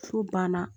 So banna